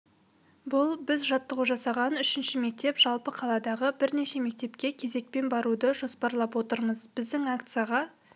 бұл біз жаттығу жасаған үшінші мектеп жалпы қаладағы бірнеше мектепке кезекпен баруды жоспарлап отырмыз біздің акцияға